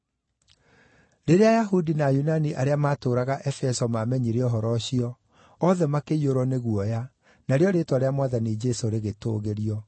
Rĩrĩa Ayahudi na Ayunani arĩa maatũũraga Efeso maamenyire ũhoro ũcio, othe makĩiyũrwo nĩ guoya, narĩo rĩĩtwa rĩa Mwathani Jesũ rĩgĩtũũgĩrio.